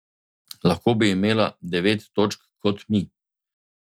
Lahko bi imela devet točk kot mi.